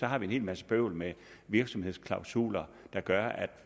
har vi en hel masse bøvl med virksomhedsklausuler der gør at